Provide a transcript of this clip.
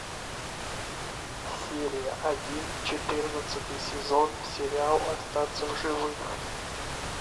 серия один четырнадцатый сезон сериал остаться в живых